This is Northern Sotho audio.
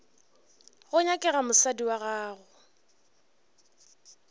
go nyakega mosadi wa gago